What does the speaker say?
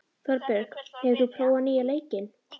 Þorbjörg, hefur þú prófað nýja leikinn?